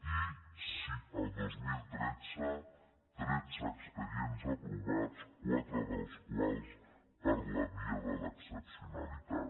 i el dos mil tretze tretze expedients aprovats quatre dels quals per la via de l’excepcionalitat